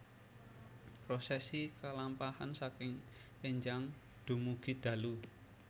Prosesi kalampahan saking énjang dumugi dalu